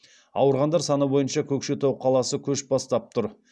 ауырғандар саны бойынша көкшетау қаласы көш бастап тұр